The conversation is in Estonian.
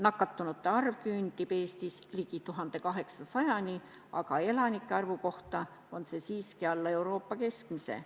Nakatunute arv küündib Eestis 1800-ni, aga elanike arvu kohta võetuna jääb see siiski alla Euroopa keskmise.